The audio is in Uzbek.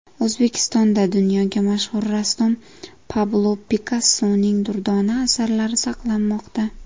O‘zbekistonda dunyoga mashhur rassom Pablo Pikassoning durdona asarlari saqlanmoqda .